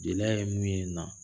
Jeli ye mun ye na ?